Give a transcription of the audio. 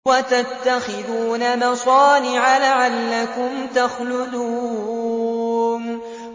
وَتَتَّخِذُونَ مَصَانِعَ لَعَلَّكُمْ تَخْلُدُونَ